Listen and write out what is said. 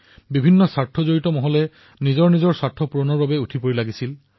কিদৰে বিভিন্ন গোটে নিজৰ সুবিধাৰ বাবে সেই পৰিবেশৰ লাভ গ্ৰহণ কৰিছিল